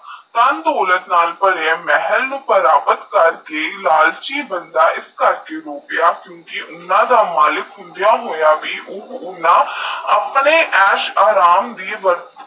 ਧਨ ਦੋਲਤ ਨਾਲ ਪਰਿਆ ਮਹਲ ਪ੍ਰਾਪਤ ਕਰਕੇ ਲਾਲਚੀ ਬੰਦਾ ਈਸ ਘਰ ਚੇ ਹੋਕ